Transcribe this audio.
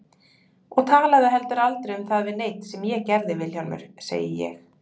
Og talaðu heldur aldrei um það við neinn sem ég gerði Vilhjálmur, segi ég.